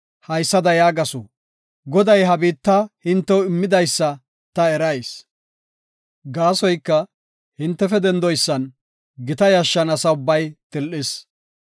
haysada yaagasu; “Goday ha biitta hintew immidaysa ta erayis. Gaasoyka, hintefe dendidaysan gita yashshan asa ubbay til7is.